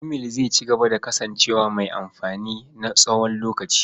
Imail zai cigaba da kasancewa mai amfani na tsawon lokaci.